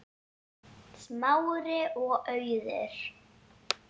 Smári og Auður.